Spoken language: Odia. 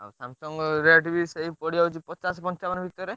ଆଉ Samsung rate ବି ସେଇ ପଡ଼ିଯାଉଛି ପଚାଶ ପଞ୍ଚାବନ ଭିତରେ।